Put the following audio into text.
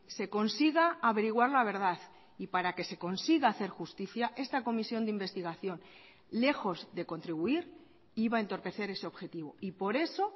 se consiga averiguar la verdad y para que se consiga hacer justicia esta comisión de investigación lejos de contribuir iba a entorpecer ese objetivo y por eso